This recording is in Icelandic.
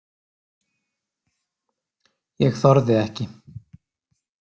Ég þorði ekki.